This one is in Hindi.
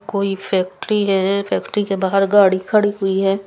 कोई फेक्ट्री है फेक्ट्री के बहर गाडी खड़ी हुई है।